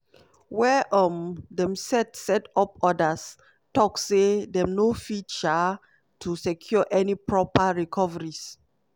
wia um dem set set up odas tok say dem no fit um to secure any proper recoveries.